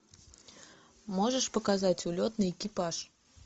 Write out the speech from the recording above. можешь показать улетный экипаж